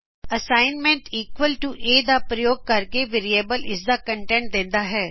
assignment equal to ਦਾ ਪ੍ਰਯੋਗ ਕਰਕੇ ਵੇਰਿਏਬਲ ਇਸਦਾ ਕਂਟੈਂਟ ਦਿੰਦਾ ਹੈ